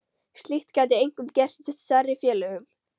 Slíkt gæti einkum gerst í stærri félögum.